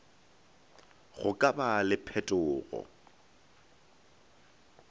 go ka ba le phetogo